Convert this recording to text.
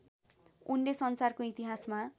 उनले संसारको इतिहासमा